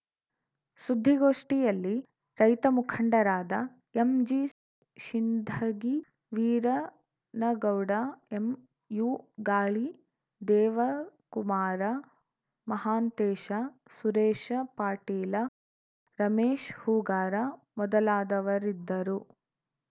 ಸುದ್ದಿಗೋಷ್ಠಿಯಲ್ಲಿ ರೈತ ಮುಖಂಡರಾದ ಎಂಜಿ ಶಿಂಧಗಿ ವೀರನಗೌಡ ಎಂಯುಗಾಳಿ ದೇವಕುಮಾರ ಮಹಾಂತೇಶ ಸುರೇಶ ಪಾಟೀಲ ರಮೇಶ್ ಹೂಗಾರ ಮೊದಲಾದವರಿದ್ದರು